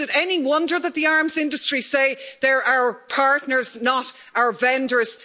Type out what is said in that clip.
Is it any wonder that the arms industry say they are our partners, not our vendors?